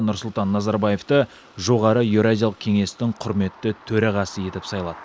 нұрсұлтан назарбаевты жоғары еуразиялық кеңестің құрметті төрағасы етіп сайлады